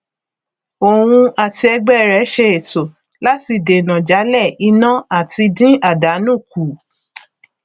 òun àti ẹgbẹ rẹ ṣe ètò láti dènà jalè iná àti dín àdánù kù